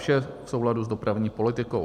Vše v souladu s dopravní politikou.